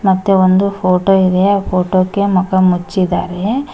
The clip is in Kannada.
ಮತ್ತೆ ಒಂದು ಫೋಟೋ ಇದೆ ಆ ಫೋಟೋ ಕೆ ಮುಖ ಮುಚ್ಚಿದ್ದಾರೆ.